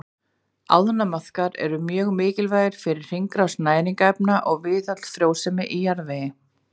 Ánamaðkar eru mjög mikilvægir fyrir hringrás næringarefna og viðhald frjósemi í jarðvegi.